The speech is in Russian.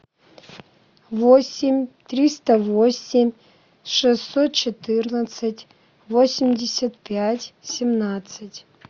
восемь триста восемь шестьсот четырнадцать восемьдесят пять семнадцать